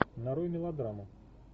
нарой мелодраму